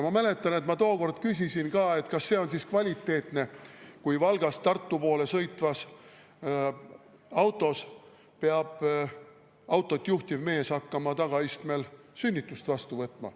Ma mäletan, et ma tookord küsisin ka, kas see on siis kvaliteetne, kui Valgast Tartu poole sõitvas autos peab autot juhtinud mees hakkama tagaistmel sünnitust vastu võtma.